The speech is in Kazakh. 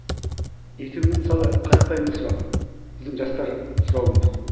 ертеңгі күні мысалы қарапайым бір сұрақ біздің жастар сұрауы мүмкін